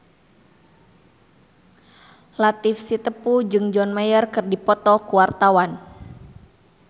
Latief Sitepu jeung John Mayer keur dipoto ku wartawan